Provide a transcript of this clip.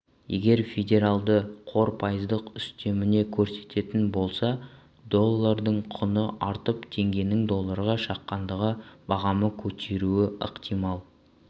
егер федералды қор пайыздық үстемені көтеретін болса доллардың құны артып теңгенің долларға шаққандағы бағамы көтеруі ықтимал